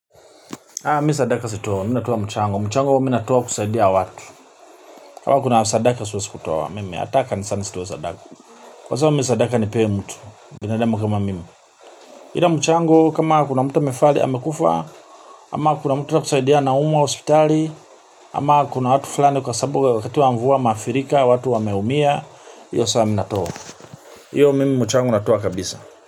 Haa mimi sadaka sitoi, mimi natoa mchango, mchango mimi natoa kusaidia watu. Kama kuna sadaka siwezi kutoa, mimi hata kanisani sitoi sadaka. Kwa sasa mimi sadaka nipee mtu, binadamu kama mimi ila mchango kama kuna mtu amefali amekufa, ama kuna mtu na kusaidia anaumwa hospitali. Ama kuna watu fulani kwa sababu wakati wa mvua wameadhirika, watu wameumia, hiyo saa mimi natoa. Hiyo mimi mchango natoa kabisa.